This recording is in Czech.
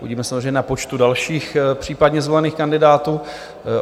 Uvidíme samozřejmě na počtu dalších případně zvolených kandidátů.